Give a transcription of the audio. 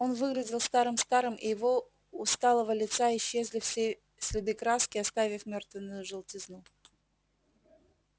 он выглядел старым-старым и его усталого лица исчезли все следы краски оставив мертвённую желтизну